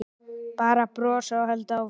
Bara brosa og halda áfram.